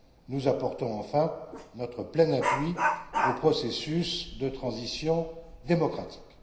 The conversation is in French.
Nous apportons enfin notre plein appui au processus de transition démocratique.